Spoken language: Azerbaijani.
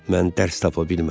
Mən dərs tapa bilmədim.